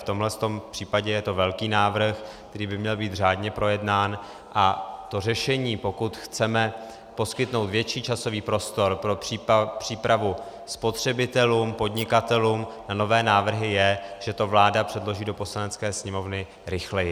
V tomhle případě je to velký návrh, který by měl být řádně projednán, a to řešení, pokud chceme poskytnout větší časový prostor pro přípravu spotřebitelům, podnikatelům, na nové návrhy, je, že to vláda předloží do Poslanecké sněmovny rychleji.